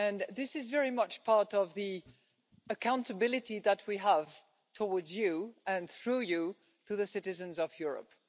This is very much part of the accountability that we have towards you and, through you, to the citizens of Europe.